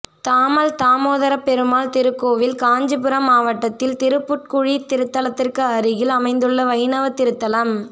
தாமல் தாமோதரப் பெருமாள் திருக்கோயில் காஞ்சிபுரம் மாவட்டத்தில் திருப்புட்குழி திருத்தலத்திற்கு அருகில் அமைந்துள்ள வைணவத் திருத்தலம்